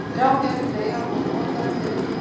Þrjár gerðir fleyga voru notaðar til ritunar.